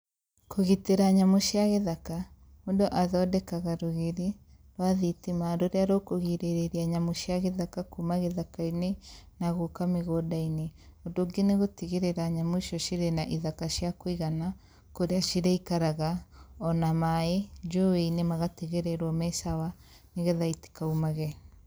kũgitĩra nyamũ cia gĩthaka, mũndũ athondekaga rũgiri rwa thitima rũrĩa rũkũrigĩrĩria nyamũ cia gĩthaka kuuma gĩthaka-inĩ na gũka mĩgũnda-inĩ, ũndũ ũngĩ nĩgũtigĩrĩra nyamũ icio cirĩ na ithaka cia kũigana kũria cĩrĩikaraga ona maĩ njũĩ-inĩ magatigĩrĩrwo me sawa nĩgetha itikaumage.